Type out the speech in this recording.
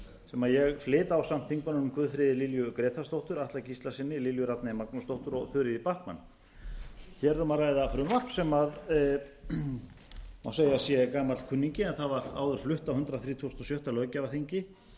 sem ég flyt ásamt þingmönnunum guðfríði lilju grétarsdóttur atla gíslasyni lilju rafney magnúsdóttur og þuríði backman hér er um að ræða frumvarp sem má segja að sé gamall kunningi en það var áður flutt á hundrað þrítugasta og sjötta löggjafarþingi